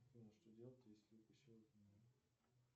афина что делать если укусила змея